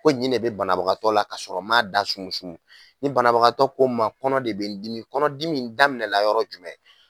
Ko ɲi ne bɛ banabagatɔ la ka sɔrɔ n man a da sumu sumu ni banabagatɔ ko n ma kɔnɔ de bɛ n dimi kɔnɔdimi in daminɛ la yɔrɔ jumɛn.